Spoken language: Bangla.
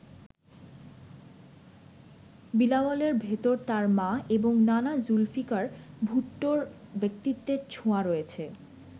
বিলাওয়ালের ভেতর তার মা এবং নানা জুলফিকার ভুট্টোর ব্যক্তিত্বের ছোঁয়া রয়েছে।